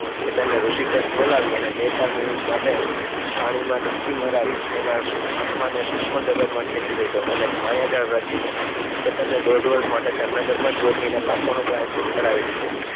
કેતનને ઋષિકેશ બોલાવી એણે બે ચાર મિનિટ માટે પાણીમાં ડૂબકી મરાવી એના આત્માને સૂક્ષ્મ જગતમાં ખેચી લીધો અને એક માયાજાળ રચીને કેતનને દોઢ વર્ષ માટે જામનગર માજ ગોતવીને પાપોનું પ્ર્યાશ્ચિત કરાવી દીધું